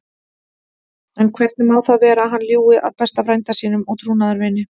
En hvernig má það vera að hann ljúgi að besta frænda sínum og trúnaðarvini?